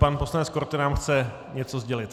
Pan poslanec Korte nám chce něco sdělit.